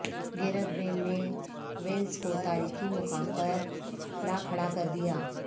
Gareth Bale نے Wales کو تاریخی مقام پر لاکھڑا کر دیا